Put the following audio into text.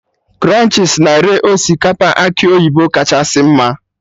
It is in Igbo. Krunchis na-ere osikapa akị oyibo kachasị mma